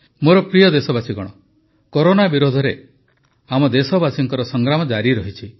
ମୋର ପ୍ରିୟ ଦେଶବାସୀଗଣ କରୋନା ବିରୁଦ୍ଧରେ ଆମେ ଦେଶବାସୀଙ୍କ ସଂଗ୍ରାମ ଜାରି ରହିଛି